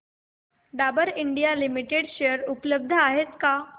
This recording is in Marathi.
डाबर इंडिया लिमिटेड शेअर उपलब्ध आहेत का